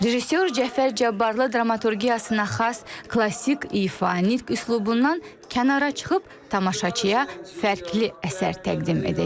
Rejissor Cəfər Cabbarlı dramaturgiyasına xas klassik ifadə üslubundan kənara çıxıb tamaşaçıya fərqli əsər təqdim edəcək.